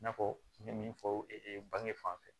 I n'a fɔ n ye min fɔ bange fan fɛ